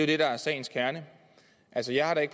det der er sagens kerne altså jeg har da